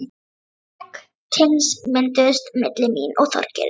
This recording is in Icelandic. Sterk tengsl mynduðust milli mín og Þorgeirs.